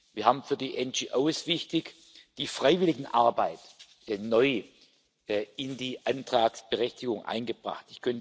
Wir haben für die NGOs wichtig die Freiwilligenarbeit neu in die Antragsberechtigung eingebracht.